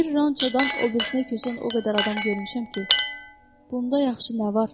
Bir ronçodan o birisinə köçən o qədər adam görmüşəm ki, bunda yaxşı nə var?